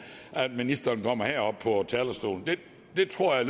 at ministeren kommer herop på talerstolen det tror jeg